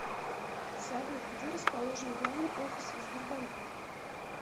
салют где расположен главный офис сбербанка